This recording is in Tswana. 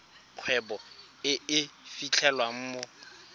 kgwebo e e fitlhelwang mo